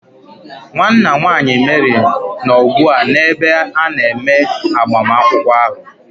Nwanna nwanyị Mary nọ ugbu a n'ebe a na-eme agbamakwụkwọ ahụ.